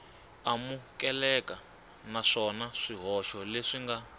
amukeleka naswona swihoxo leswi nga